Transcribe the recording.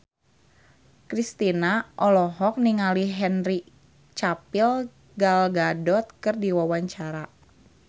Kristina olohok ningali Henry Cavill Gal Gadot keur diwawancara